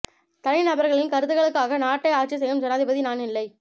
தனி நபர்களின் கருத்துக்களுக்காக நாட்டை ஆட்சி செய்யும் ஜனாதிபதி நான் இல்லை